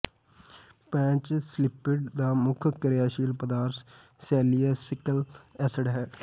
patch ਸਲਿਪਡ ਦਾ ਮੁੱਖ ਕਿਰਿਆਸ਼ੀਲ ਪਦਾਰਥ ਸੇਲੀਸਾਈਲਿਕ ਐਸਿਡ ਹੈ